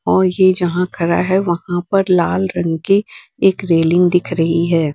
ओर ये जहां खड़ा है वहां पर लाल रंग की एक रेलिंग दिख रही है।